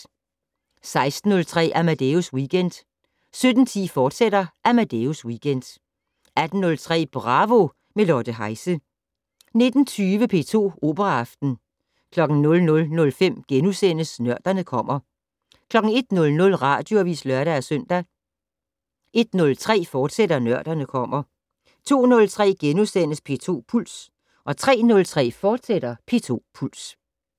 16:03: Amadeus Weekend 17:10: Amadeus Weekend, fortsat 18:03: Bravo - med Lotte Heise 19:20: P2 Operaaften 00:05: Nørderne kommer * 01:00: Radioavis (lør-søn) 01:03: Nørderne kommer, fortsat 02:03: P2 Puls * 03:03: P2 Puls, fortsat